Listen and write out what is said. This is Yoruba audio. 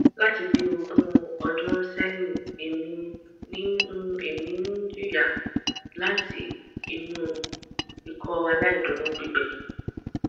lati bi ogun odun sehin emi n emi n jiya lati inu ikọaláìdúró gbigbẹ